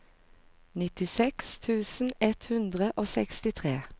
nittiseks tusen ett hundre og sekstitre